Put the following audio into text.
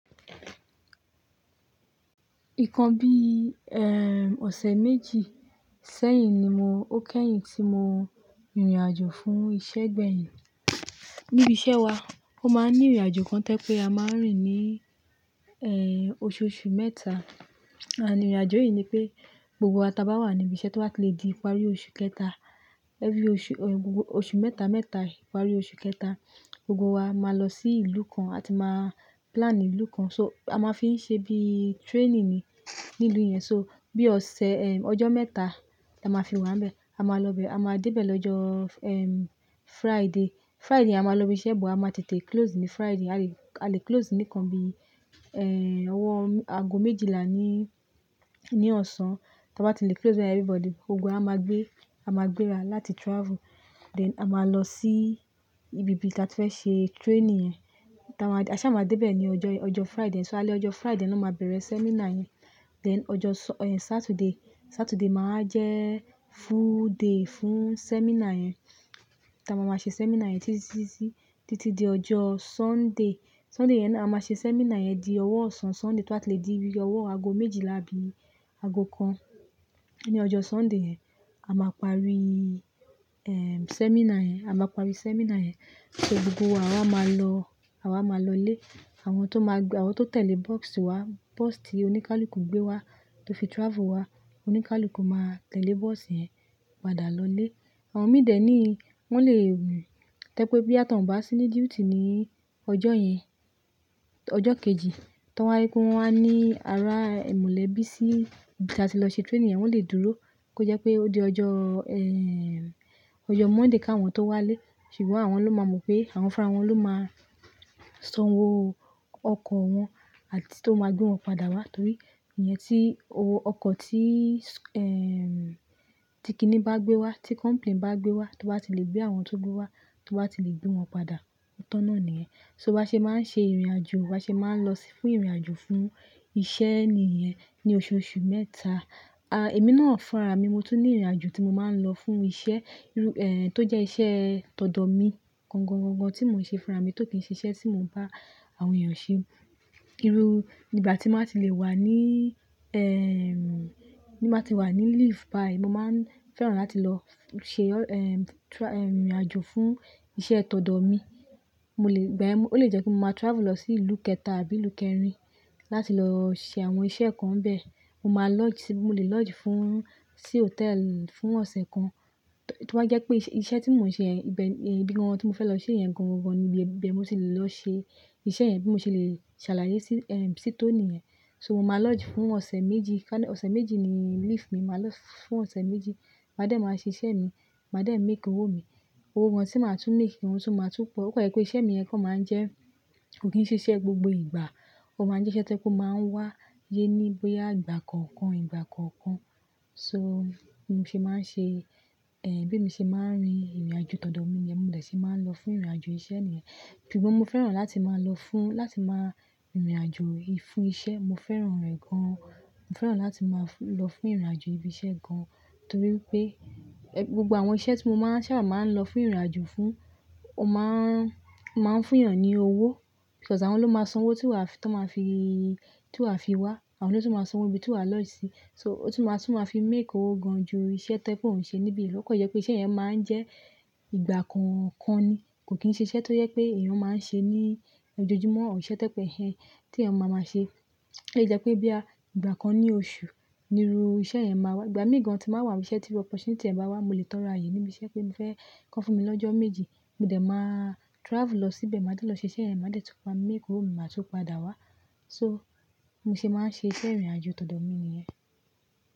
Ìkan bí i, ẹ́ẹ́, ọ̀sẹ̀ méjì sẹ́yìn ni mo, ó kẹ́yìn tí mo rìnrìn àjò fún ìṣe gbẹ́yin. Níbi iṣẹ́ wa, ó máa ń ní ìrìnàjò kan tẹ́ pé a máa ń rìn ní, ẹ́ẹ́, oṣooṣù mẹ́ta. Àní ìrìnàjò yìí ni pé gbogbo wa ta bá wà níbi iṣẹ́ tó bá le di ìparí oṣù kẹta, ẹ́ fi oṣù, ọ, gbogbo oṣù mẹ́ta mẹ́ta ìparí oṣù kẹta, gbogbo wa máa lọ sí ìlú kan àti máa plan ìlú kan. So a máa fi ń ṣe bí training ni nínú ìlú yẹn. So bí ọ̀sẹ̀, ẹ́ẹ́, ọjọ́ mẹ́ta la máa fi wà níbẹ̀. A máa lọ bẹ̀, a máa dé bẹ̀ lọ́jọ́, ẹ́ẹ́, Friday. Friday a máa lọ ibi iṣẹ́, bó a máa tètè close ní Friday. A le, a le close níkan bí i, ẹ́ẹ́, ọwọ́ aago méjìlá ní, ní ọ̀sán. Tí a bá ti le close bẹ everybody gbogbo wa a máa gbé, a máa gbéra láti travel. Then a máa lọ sí ibi tí a ti fẹ́ ṣe training yẹn. Tí a bá, àṣá a máa dé bẹ̀ ní ọjọ́, ọjọ́ Friday. So a le ọjọ́ Friday ni wọ́n máa bẹ̀rẹ̀ seminar yẹn. Then ọjọ́ Sa, ẹ́ẹ́, Saturday, Saturday máa jẹ́ full day fún seminar yẹn. Tí a máa máa ṣe seminar yẹn títí di, títí di ọjọ́ Sunday. Sunday yẹn ni a máa ṣe seminar yẹn di ọwọ́ ọ̀sán Sunday tí a bá ti le di bí i ọwọ́ aago méjìlá bí i aago kan. Ní ọjọ́ Sunday yẹn, a máa parí, ẹ́ẹ́, seminar yẹn. A máa parí seminar yẹn. So gbogbo wa àwa máa lọ, àwa máa lọlé. Àwọn tó máa gbé, àwọn tó tẹ̀lé bọ́ọ́sì wa, bọ́ọ́sì tí oníkálùkù gbé wa tó fi travel wá, oníkálùkù máa tẹ̀lé bọ́ọ́sì yẹn padà lọlé. Àwọn mìdẹ ni wọ́n lè, tẹ́ pé bí a tàn bá sí ní duty ní ọjọ́ yẹn, ọjọ́ kejì, tí wọ́n bá ri pé wọ́n wá ní ara ẹ̀ molẹ̀bí sí ibi tí a ti lọ ṣe training yẹn, wọ́n lè dúró kí ó jẹ́ pé ó di ọjọ́, ẹ́ẹ́, ọjọ́ Monday káwọn tó wá lé. Ṣùgbọ́n àwọn ló máa mọ̀ pé àwọn fúnra wọn ló máa sanwó ọkọ̀ wọn àti tó máa gbé wọn padà wá torí ìyẹn tí owó ọkọ̀ tí, ẹ́ẹ́, tí kíní bá gbé wa, tí company bá gbé wa, tó bá ti le gbé àwọn tó gbé wa tó bá ti le gbé wọn padà, otan nà nìyẹn. So ba ṣe máa ń ṣe ìrìnàjò, bá ṣe máa ń lọ fún ìrìnàjò fún iṣẹ́ ni ìyẹn ní oṣooṣù mẹ́ta. A, èmi náà fúnra mi, mo tún ní ìrìnàjò tí mo máa ń lọ fún iṣẹ́, irú, ẹ́ẹ́, tó jẹ́ iṣẹ́ tọ̀dọ̀ mi. Gangan gangan tí mo ṣe fúnra mi tó kì í ṣe iṣẹ́ tí mo ń bá àwọn èèyàn ṣe. Irú ìgbà tí máa ti le wà ní, ẹ́ẹ́, tí máa ti wà ní leave báyìí, mo máa ń fẹ́ràn láti lọ ṣe ọ́, ẹ́ẹ́, tra, ẹ́ẹ́, ìrìnàjò fún iṣẹ́ tọ̀dọ̀ mi. Mo lè, igbayen, ó lè jẹ́ pé mo máa travel lọ sí ìlú kẹta àbí ìlú kẹrin láti lọ ṣe àwọn iṣẹ́ kan níbẹ̀. Mo máa lodge sí, mo lè lodge fún, sí hotel fún ọ̀sẹ̀ kan. To bá jẹ́ pé iṣẹ́ tí mò ń ṣe yẹn ibẹ̀ ní ibi gan-an tí mo fẹ́ lọ ṣe yẹn gan-an gan-an ni ibi, ibi ẹ́ mó sì le lọ ṣe iṣẹ́ yẹn bí mo ṣe le ṣàlàyé sí, ẹ́ẹ́, sí to niiyẹn. So mo máa lodge fún ọ̀sẹ̀ méjì ká, ọ̀sẹ̀ méjì ni leave mi. Mo máa lodge fún ọ̀sẹ̀ méjì. Màá dẹ̀ máa ṣe iṣẹ́ mi, màá dẹ̀ make owó mi. Owó gan-an tí màá tún make, òun tún máa tún pọ̀. Ó pẹ̀lú pé iṣẹ́ mi yẹn kàn máa ń jẹ́ kò kín ṣe iṣẹ́ gbogbo ìgbà. Ó máa ń jẹ́ iṣẹ́ tó máa ń wá yé ní bóyá ìgbà kọ̀ọ̀kan, ìgbà kọ̀ọ̀kan. So mo ṣe máa ń ṣe, ẹ́ẹ́, bí mi ṣe máa ń rin ìrìnàjò tọ̀dọ̀ mi yẹn, mo dè ṣe máa ń lọ fún ìrìnàjò iṣẹ́ ni ìyẹn. Ṣùgbọ́n mo fẹ́ràn láti máa lọ fún, láti máa ìrìnàjò fún iṣẹ́. Mo fẹ́ràn rẹ̀ gan-an. Mo fẹ́ràn láti máa lọ fún ìrìnàjò ibi iṣẹ́ gan-an torí pé ẹ, gbogbo àwọn iṣẹ́ tí mo máa ń sábà máa ń lọ fún ìrìnàjò fún, ó máa ń, máa ń fún èèyàn ní owó. Plus àwọn ló máa sanwó tí wà, tí ọ́n máa fi, tí wà fi wá. Àwọn ló tún máa sanwó ibí ti wà lọdge sì. So ó tún máa tún máa fi make owó gan-an ju iṣẹ́ tẹ́ pé ò ń ṣe níbí lọ. Ó kan je pẹ̀ iṣẹ́ yẹn máa ń jẹ́ ìgbà kọ̀ọ̀kan ni. Kò kín ṣe iṣẹ́ tó yẹ pé èèyàn máa ń ṣe ní ojojúmọ́. Awon ise tẹ́ pé iṣẹ́ tí èèyàn máa máa ṣe. Ó lẹ jẹ́ pé bí à ìgbà kan ní oṣù ni irú iṣẹ́ yẹn máa wà. Ìgbà mí gan-an tí màá wà níbi iṣẹ́ tí opportunity ẹ̀ bá wá, mo lè tọrọ ààyè níbi iṣẹ́ pé mi fẹ́ kọ́ fún mi lọ́jọ́ méjì. Mo dẹ̀ máa travel lọ síbẹ̀, màá dẹ́ lọ ṣe iṣẹ́ yẹn, màá dẹ̀ tún máa make owó mi, màá tún padà wá. So mo ṣe máa ń ṣe iṣẹ́ ìrìnàjò tọ̀dọ̀ mi ni ìyẹn.